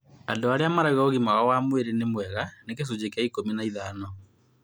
Andũ arĩa marauga ũgima wao wa mwĩrĩ nĩ mwega nĩ gĩcunjĩ kĩa ikũmi na ithano